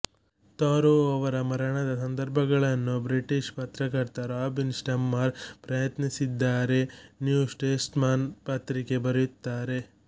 Taro ಅವರ ಮರಣದ ಸಂದರ್ಭಗಳನ್ನು ಬ್ರಿಟಿಷ್ ಪತ್ರಕರ್ತ ರಾಬಿನ್ ಸ್ಟಮ್ಮರ್ ಪ್ರಶ್ನಿಸಿದ್ದಾರೆ ನ್ಯೂ ಸ್ಟೇಟ್ಸ್ಮನ್ ಪತ್ರಿಕೆ ಬರೆಯುತ್ತಾರೆ